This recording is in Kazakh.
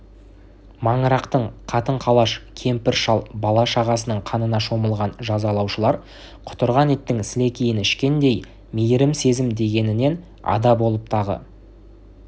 маңырақтың қатын-қалаш кемпір-шал бала-шағасының қанына шомылған жазалаушылар құтырған иттің сілекейін ішкендей мейірім сезім дегеннен ада болып тағы